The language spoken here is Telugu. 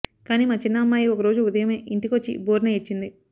కానీ మా చిన్న అమ్మాయి ఒకరోజు ఉదయమే ఇంటికొచ్చి బోరున ఏడ్చింది